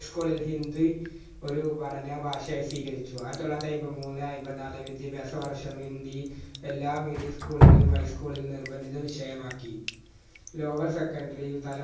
high school ഇൽ ഹിന്ദി ഒരു പഠന ഭാഷയായി സ്വീകരിച്ചു ആയിതൊള്ളായിരത്തി അയിമ്പത്തിമൂന്ന് അയിമ്പത്തിനാല് വിദ്യഭ്യാസ വർഷം ഹിന്ദി എല്ലാ medium school കളിലും high school ലും നിർബന്ധിത വിഷയമാക്കി lower secondary തല